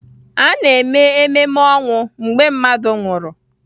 A na-eme ememe ọnwụ mgbe mmadụ nwụsịrị